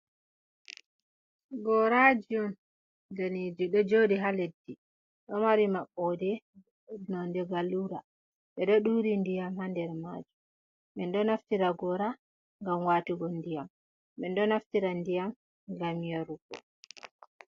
Gorajium daneji ɗo joɗi ha leddi, ɗo mari maɓɓode nonde gallura, ɓeɗo ɗuri ndiyam ha nder majum. Min ɗo naftira gora ngam watugo ndiyam, minɗo naftira ndiyam ngam yarugo.